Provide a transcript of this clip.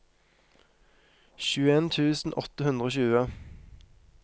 tjueen tusen åtte hundre og tjue